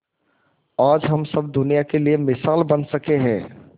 आज हम सब दुनिया के लिए मिसाल बन सके है